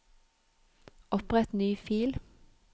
Opprett ny fil